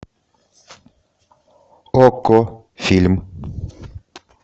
окко фильм